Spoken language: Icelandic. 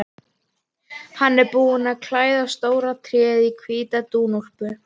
Hann er búinn að klæða stóra tréð í hvíta dúnúlpu.